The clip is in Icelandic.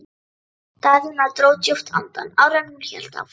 Daðína dró djúpt andann áður en hún hélt áfram.